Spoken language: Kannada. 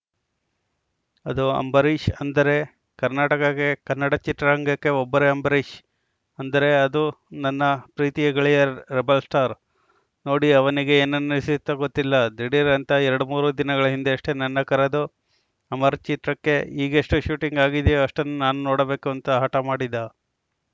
ಅದು ಅಂಬರೀಷ್‌ ಅಂದರೆ ಕರ್ನಾಟಕಕ್ಕೆ ಕನ್ನಡ ಚಿತ್ರರಂಗಕ್ಕೆ ಒಬ್ಬರೇ ಅಂಬರೀಷ್‌ ಅಂದರೆ ಅದು ನನ್ನ ಪ್ರೀತಿಯ ಗೆಳೆಯ ರೆಬೆಲ್‌ ಸ್ಟಾರ್‌ ನೋಡಿ ಅವನಿಗೆ ಏನನಿಸಿತೋ ಗೊತ್ತಿಲ್ಲ ಧಿಡೀರ್‌ ಅಂತ ಎರಡ್ಮೂರು ದಿನಗಳ ಹಿಂದೆಯಷ್ಟೇ ನನ್ನ ಕರೆದು ಅಮರ್‌ ಚಿತ್ರಕ್ಕೆ ಈಗೆಷ್ಟುಶೂಟಿಂಗ್‌ ಆಗಿದೆಯೋ ಅಷ್ಟನ್ನು ನಾನು ನೋಡಬೇಕು ಅಂತ ಹಠ ಮಾಡಿದ